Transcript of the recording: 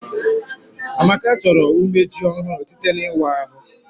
Amaka chọrọ umeji ọhụrụ site n'ịwa ahụ